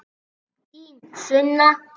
Þín Sunna.